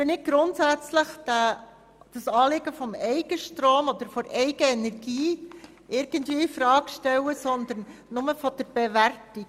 Wir stellen das Anliegen des Eigenstroms oder der Eigenenergie nicht infrage, aber wir haben eine Forderung hinsichtlich der Bewertung.